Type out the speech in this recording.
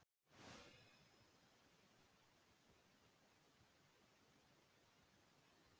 Aðeins tvö íslensk farþegaskip uppfylli þau eða Herjólfur og Grímseyjarferjan Sæfari.